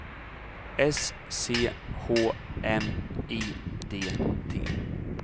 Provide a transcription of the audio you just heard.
S C H M I D T